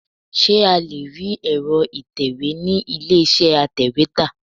Ṣé a lé rí èro ìtẹ̀wẹ́ ni ilé iṣẹ́ atèwétà?